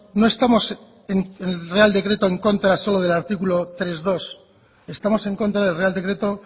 no estamos en el real decreto en contra solo del artículo tres punto dos estamos en contra del real decreto